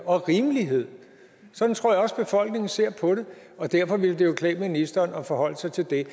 og rimelighed sådan tror jeg også befolkningen ser på det og derfor ville det jo klæde ministeren at forholde sig til det